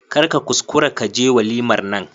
Kar ka kuskura ka je walimar nan.